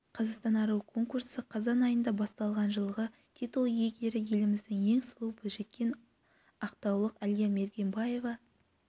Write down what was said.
қазақстан аруы конкурсы қазан айында басталған жылғы титул иегері еліміздің ең сұлу бойжеткені ақтаулық әлия мергембаева